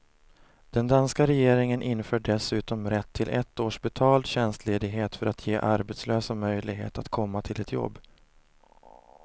Den danska regeringen inför dessutom rätt till ett års betald tjänstledighet för att ge arbetslösa möjlighet att komma till ett jobb.